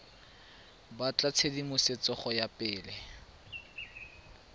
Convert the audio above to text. batla tshedimosetso go ya pele